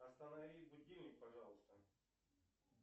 останови будильник пожалуйста